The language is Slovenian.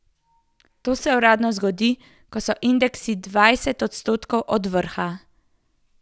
To se uradno zgodi, ko so indeksi dvajset odstotkov od vrha.